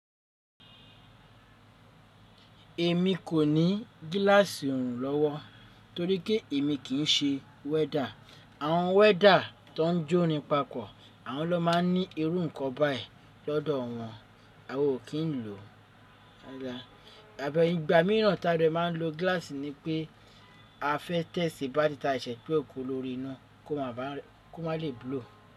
Èmi kò ní gíláàsì orùn lọ́wọ́ torí pé èmi kì ń ṣe wẹ́dà. Àwọn wẹ́dà tó ń jó rin pàpọ̀, àwọn ló máa ń ní irú nǹkan bẹ́ẹ̀ lọ́dọ̀ wọn, awa ò kí ń lò ó. Àbẹ̀ yí, ìgbà mìíràn tí a dè máa ń lo gíláàsì ni pé a fẹ́ tẹ̀sì bá tí tà ṣẹ́ pé ó kó lórí iná kó má lè búlò.